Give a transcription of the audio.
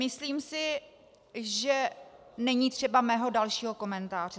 Myslím si, že není třeba mého dalšího komentáře.